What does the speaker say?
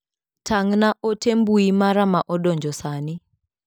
Tang' na ote mbui mara ma odonjo sani.